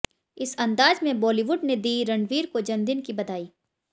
इस अंदाज में बॉलीवुड ने दी रणवीर को जन्मदिन की बधाई